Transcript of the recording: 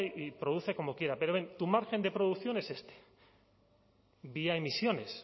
y produce como quiera pero ven tu margen de producción es este vía emisiones